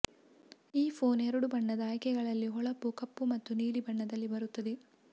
ಈ ಫೋನ್ ಎರಡು ಬಣ್ಣದ ಆಯ್ಕೆಗಳಲ್ಲಿ ಹೊಳಪು ಕಪ್ಪು ಮತ್ತು ನೀಲಿ ಬಣ್ಣದಲ್ಲಿ ಬರುತ್ತದೆ